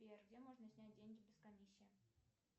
сбер где можно снять деньги без комиссии